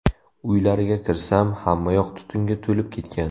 Uylariga kirsam, hammayoq tutunga to‘lib ketgan.